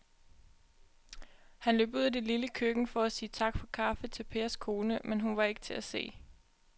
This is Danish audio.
Han løb ud i det lille køkken for at sige tak for kaffe til Pers kone, men hun var ikke til at se.